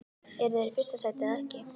Eru þeir í fyrsta sæti eða ekki?